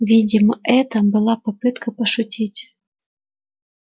видимо это была попытка пошутить